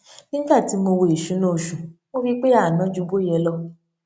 nígbà tí mo wo ìṣúná oṣù mo rí pé a ná ju bó yẹ lọ